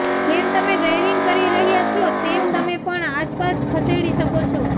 જેમ તમે ડ્રાઇવિંગ કરી રહ્યા છો તેમ તમે પણ આસપાસ ખસેડી શકો છો